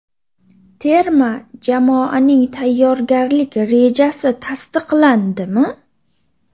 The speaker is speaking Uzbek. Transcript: Terma jamoaning tayyorgarlik rejasi tasdiqlandimi?